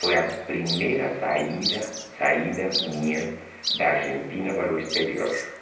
Foi a primeira saída saída minha da Argentina para o exterior.